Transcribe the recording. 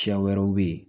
Siya wɛrɛw bɛ yen